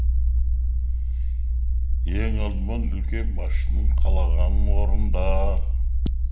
ең алдымен үлкен басшысының қалағанын орында